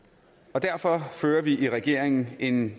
derfor fører vi i regeringen en